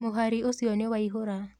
Mũhari ũcio niwaihũraa.